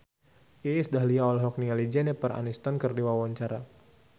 Iis Dahlia olohok ningali Jennifer Aniston keur diwawancara